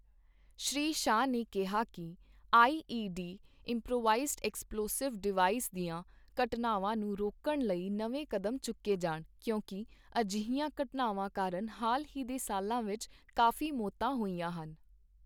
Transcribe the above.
ਸ਼੍ਰੀ ਸ਼ਾਹ ਨੇ ਕਿਹਾ ਕਿ I E D improvised explosive device ਦੀਆਂ ਘਟਨਾਵਾਂ ਨੂੰ ਰੋਕਣ ਲਈ ਨਵੇਂ ਕਦਮ ਚੁੱਕੇ ਜਾਣ ਕਿਉਂਕਿ ਅਜਿਹੀਆਂ ਘਟਨਾਵਾਂ ਕਾਰਨ ਹਾਲ ਹੀ ਦੇ ਸਾਲਾਂ ਵਿੱਚ ਕਾਫੀ ਮੌਤਾਂ ਹੋਈਆਂ ਹਨ।